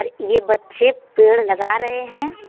यह बच्चे पेड़ लगा रहे हैं।